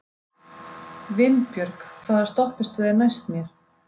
Vinbjörg, hvaða stoppistöð er næst mér?